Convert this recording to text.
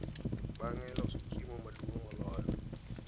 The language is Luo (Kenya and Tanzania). Bang’e, iloso chiemo maduong’ moloyo.